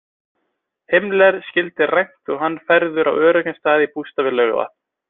Himmler skyldi rænt og hann færður á öruggan stað í bústað við Laugarvatn.